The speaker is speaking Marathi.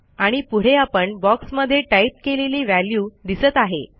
आणि पुढे आपण बॉक्समध्ये टाईप केलेली व्हॅल्यू दिसत आहे